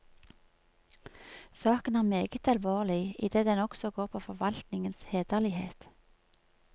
Saken er meget alvorlig, idet den også går på forvaltningens hederlighet.